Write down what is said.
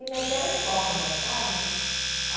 E meteram corda, sabe?